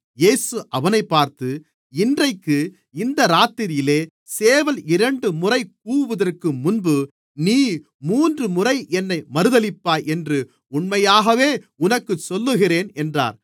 இயேசு அவனைப் பார்த்து இன்றைக்கு இந்த இராத்திரியிலே சேவல் இரண்டுமுறை கூவுகிறதற்கு முன்பு நீ மூன்றுமுறை என்னை மறுதலிப்பாய் என்று உண்மையாகவே உனக்குச் சொல்லுகிறேன் என்றார்